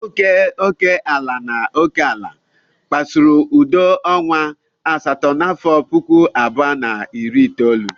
Ọgụ nke ala na oke ala kpasuru udo ọnwa asatọ n'afọ puku abụọ na iri itoolu.